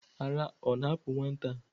Ara ọ na-apu nwata a?